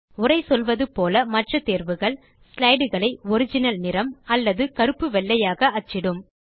உரை சொல்வது போல மற்ற தேர்வுகள் ஸ்லைடு களை ஒரிஜினல் நிறம் அல்லது கருப்பு வெள்ளையாக அச்சிடும்